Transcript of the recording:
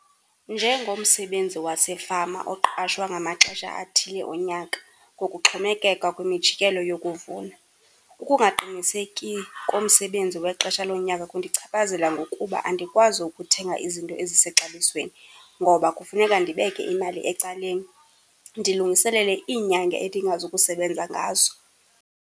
Njengomsebenzi wasefama oqashwa ngamaxesha athile onyaka, ngokuxhomekeka kwimijikelo yokuvuna, ukungaqiniseki komsebenzi wexesha lonyaka kundichaphazela ngokuba andikwazi ukuthenga izinto ezisexabisweni ngoba kufuneka ndibeke imali ecaleni ndilungiselele iinyanga endingazukusebenza ngazo.